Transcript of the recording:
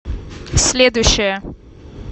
следующая